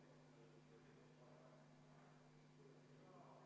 Aitäh, lugupeetud istungi juhataja!